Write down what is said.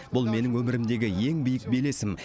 бұл менің өмірімдегі ең биік белесім